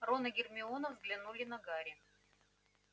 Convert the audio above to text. рон и гермиона взглянули на гарри